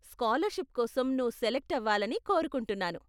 Scholarship కోసం నువ్వు select అవ్వాలని కోరుకుంటున్నాను.